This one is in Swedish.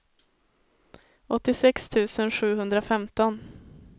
åttiosex tusen sjuhundrafemton